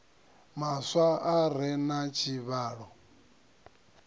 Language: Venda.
maswa a re na tshivhalo